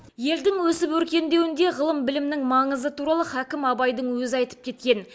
елдің өсіп өркендеуінде ғылым білімнің маңызы туралы хакім абайдың өзі айтып кеткен